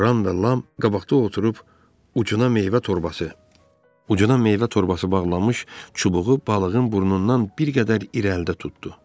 Ram da Lam qabaqda oturub ucuna meyvə torbası, ucuna meyvə torbası bağlanmış çubuğu balığın burnundan bir qədər irəlidə tutdu.